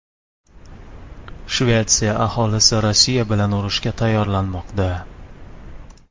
Shvetsiya aholisi Rossiya bilan urushga tayyorlanmoqda.